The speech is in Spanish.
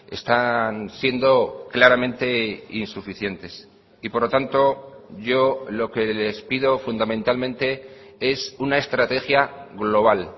están siendo claramente insuficientes y por lo tanto yo lo que les pido fundamentalmente es una estrategia global